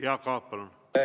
Jaak Aab, palun!